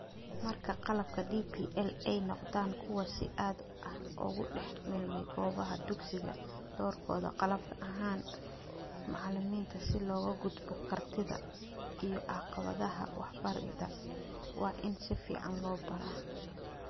Marka qalabka DPL ay noqdaan kuwo si aad ah ugu dhex milmay goobaha dugsiga, doorkooda qalab ahaan macalimiinta si looga gudbo kartida iyo caqabadaha waxbarida waa in si fiican loo baaro.